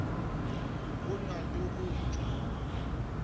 go na le go tšwa